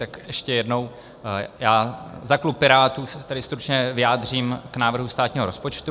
Tak ještě jednou, já za klub Pirátů se tady stručně vyjádřím k návrhu státního rozpočtu.